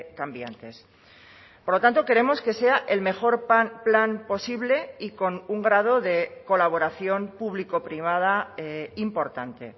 cambiantes por lo tanto queremos que sea el mejor plan posible y con un grado de colaboración público privada importante